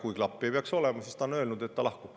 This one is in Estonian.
Aga ta on öelnud, et kui klappi ei peaks olema, siis ta lahkub.